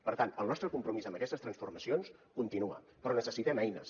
per tant el nostre compromís amb aquestes transformacions continua però necessitem eines